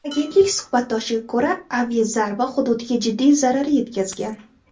Agentlik suhbatdoshiga ko‘ra, aviazarba hududga jiddiy zarar yetkazgan.